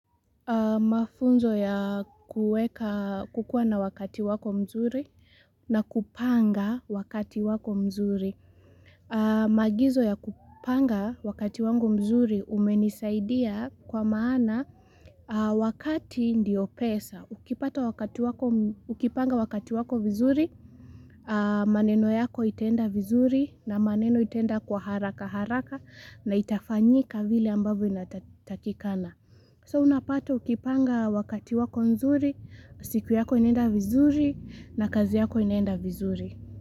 Mafunzo ya kukua na wakati wako mzuri na kupanga wakati wako mzuri. Maagizo ya kupanga wakati wangu mzuri umenisaidia kwa maana wakati ndio pesa. Ukipanga wakati wako vizuri, maneno yako itaenda vizuri na maneno itaenda kwa haraka haraka na itafanyika vile ambavyo inatakikana. So unapata ukipanga wakati wako nzuri, siku yako inaenda vizuri na kazi yako inaenda vizuri.